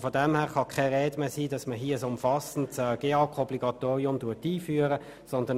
Insofern kann in keiner Art und Weise von der Einführung eines umfassenden GEAK-Obligatoriums die Rede sein.